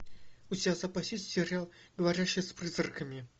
у тебя в запасе есть сериал говорящий с призраками